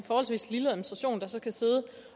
forholdsvis lille administration der så skal sidde